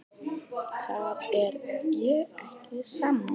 Þar er ég ekki sammála.